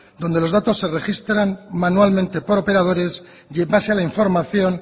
donde los datos se registran manualmente por operadores y en base a la información